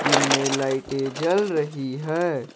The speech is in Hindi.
इनमे लाइटे जल रही है।